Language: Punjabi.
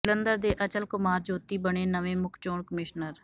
ਜਲੰਧਰ ਦੇ ਅਚਲ ਕੁਮਾਰ ਜੋਤੀ ਬਣੇ ਨਵੇਂ ਮੁੱਖ ਚੋਣ ਕਮਿਸ਼ਨਰ